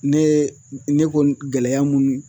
Ne ne ko gɛlɛya munni